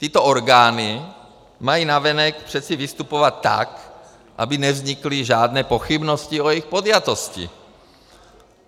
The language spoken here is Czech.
Tyto orgány mají navenek přece vystupovat tak, aby nevznikly žádné pochybnosti o jejich podjatosti.